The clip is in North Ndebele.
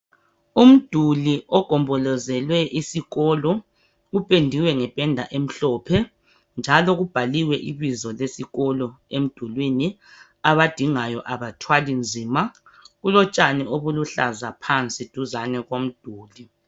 Umduli ogombolozele isikolo upendiwe ngependa emhlophe njalo kubhaliwe ibizo lesikolo emdulwini abadingayo abathwali nzima kulotshani obuluhlaza phansi duzane komduli.